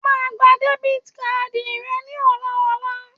O máa gba debiti kaadi rẹ ní ọ̀la ọla.!